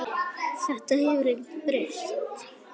Þetta hefur ekkert breyst.